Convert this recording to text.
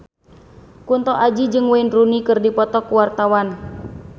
Kunto Aji jeung Wayne Rooney keur dipoto ku wartawan